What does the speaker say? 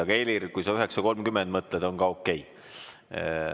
Aga Helir, kui sa 9.30 mõtled, on ka okei.